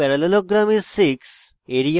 area of parallelogram is 6